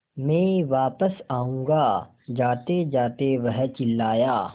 मैं वापस आऊँगा जातेजाते वह चिल्लाया